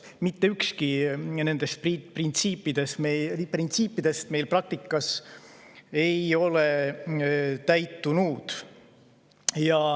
Mitte ükski nendest printsiipidest meil praktikas ei ole täitunud.